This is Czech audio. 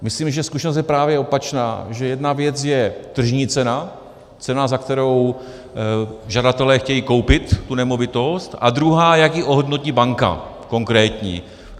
Myslím, že zkušenost je právě opačná, že jedna věc je tržní cena, cena, za kterou žadatelé chtějí koupit tu nemovitost, a druhá, jak ji ohodnotí banka, konkrétní.